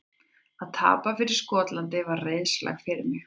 Að tapa fyrir Skotlandi var reiðarslag fyrir mig.